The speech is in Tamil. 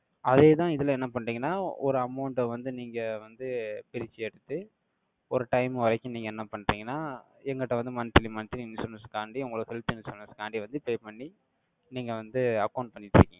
அதே தான், இதுல என்ன பண்றீங்கன்னா, ஒரு amount அ வந்து, நீங்க வந்து, பிரிச்சு எடுத்து, ஒரு time வரைக்கும், நீங்க என்ன பண்றீங்கன்னா, எங்கிட்ட வந்து, monthly monthly insurance தாண்டி, உங்களை health insurance க்காண்டி வந்து, pay பண்ணி, நீங்க வந்து, account பண்ணிட்டு